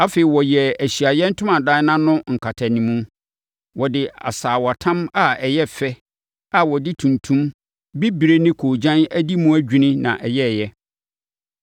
Afei, wɔyɛɛ Ahyiaeɛ Ntomadan no ano nkatanimu. Wɔde asaawatam a ɛyɛ fɛ a wɔde tuntum, bibire ne koogyan adi mu adwini na ɛyɛeɛ.